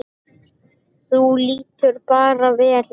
Þú lítur bara vel út!